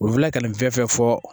U bɛ tila ka nin fɛn fɛn fɔ